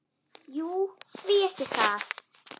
Jú, því ekki það?